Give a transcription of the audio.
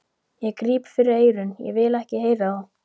Ég gríp fyrir eyrun, ég vil ekki heyra það!